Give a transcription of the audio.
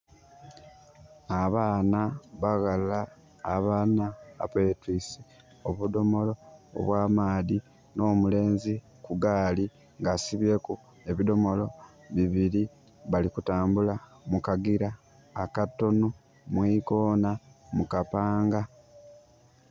Abaana baghala abana betwiise obudhomolo obwa maadhi. Nh'omuleenzi ku gaali nga asibyeku ebidhomolo bibili. Bali kutambula mu kagira akatono mu ikoona mu kapanga.